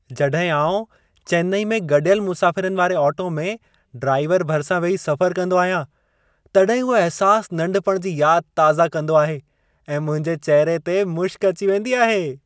जॾहिं आउं चेन्नई में गॾियल मुसाफ़िरनि वारे ऑटो में ड्राइवर भरिसां वेही सफ़रु कंदो आहियां, तॾहिं उहो अहिसासु, नंढपण जी यादि ताज़ा कंदो आहे ऐं मुंहिंजे चहिरे ते मुशक़ अची वेंदी आहे।